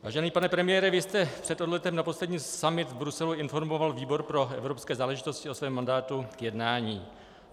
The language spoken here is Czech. Vážený pane premiére, vy jste před odletem na poslední summit v Bruselu informoval výbor pro evropské záležitosti o svém mandátu k jednání.